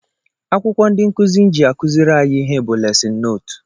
Akwụkwọ ndị nkụzi ji akụziri anyị ihe bụ lesịn nootu